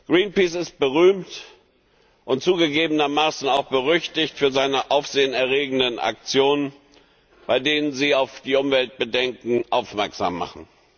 Greenpeace ist berühmt und zugegebenermaßen auch berüchtigt für seine aufsehenerregenden Aktionen, bei denen sie auf Umweltbedenken aufmerksam machen.